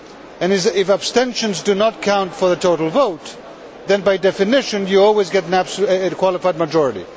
and if abstentions do not count towards the total vote, then by definition, you always get a qualified majority.